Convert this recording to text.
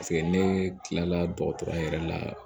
Paseke ne kilala dɔgɔtɔrɔ yɛrɛ la